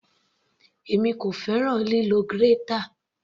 Èmi kò fẹ́ràn lílo grater.